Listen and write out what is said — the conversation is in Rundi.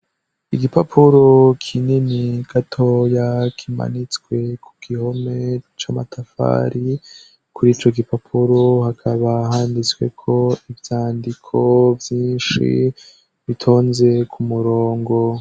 Igipapuro k'inini gato ya kimanitswe ku gihome c'amatafari kurico gipapuro hakaba handitsweko ibyandiko byinshi bitonze ku murongo.